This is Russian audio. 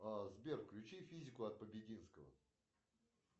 сбер включи физику от побединского